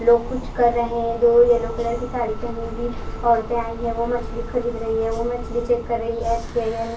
लोग कुछ कर रहे है दो येल्लो कलर की साड़ी हुई ओरते आई है वो मछली खरीद रही है वो मछली चेक कर रही है सही या नही--